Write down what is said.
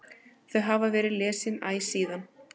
Þau hafa verið lesin æ síðan.